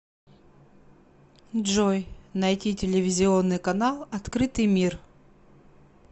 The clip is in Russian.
джой найти телевизионный канал открытый мир